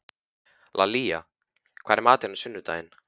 Lalíla, hvað er í matinn á sunnudaginn?